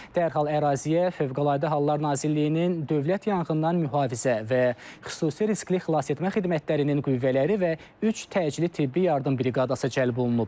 Dərhal əraziyə Fövqəladə Hallar Nazirliyinin Dövlət Yanğından Mühafizə və Xüsusi Riskli Xilasetmə Xidmətlərinin qüvvələri və üç təcili tibbi yardım briqadası cəlb olunub.